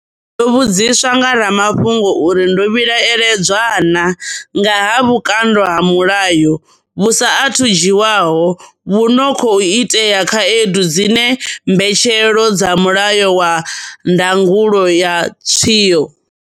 Ndo vhudziswa nga ramafhungo uri ndo vhilaedzwa naa nga ha vhukando ha mulayo vhu sa athu dzhiwaho vhu no khou itela khaedu dziṅwe mbetshelwo dza Mulayo wa Ndangulo ya Tshiwo.